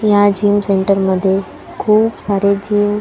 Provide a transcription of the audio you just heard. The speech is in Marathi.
या जीम सेंटर मध्ये खूप सारे जीम --